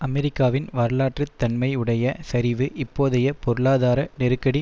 அமெரிக்காவின் வரலாற்று தன்மை உடைய சரிவு இப்போதைய பொருளாதார நெருக்கடி